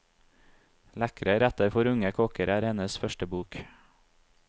Lekre retter for unge kokker er hennes første bok.